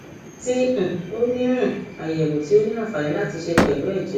ti um o ni um ayẹwo ti o ni anfani lati ṣe pẹlu ẹjẹ rẹ